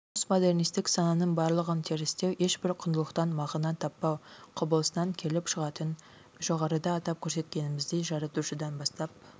постмодернистік сананың барлығын терістеу ешбір құндылықтан мағына таппау құбылысынан келіп шығатын жоғарыда атап көрсеткеніміздей жаратушыдан бастап